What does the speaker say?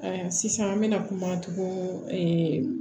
sisan an bɛna kumacogo